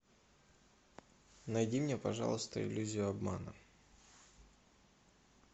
найди мне пожалуйста иллюзию обмана